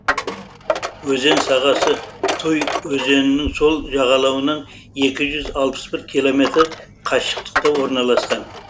өзен сағасы туй өзенінің сол жағалауынан екі жүз алпыс бір километр қашықтықта орналасқан